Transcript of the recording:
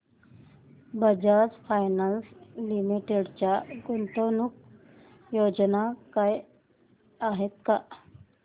Bajaj finance limited च्या गुंतवणूक योजना आहेत का